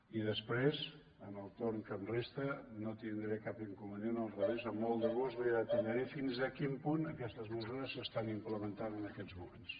i després en el torn que em resta no tindré cap incon·venient al revés amb molt de gust li detallaré fins a quin punt aquestes mesures s’estan implementant en aquests moments